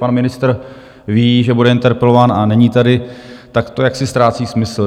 Pan ministr ví, že bude interpelován, a není tady, tak to jaksi ztrácí smysl.